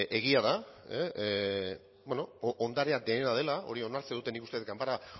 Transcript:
egia da beno ondarea denena dela hori onartzen dute nik uste dut ganbera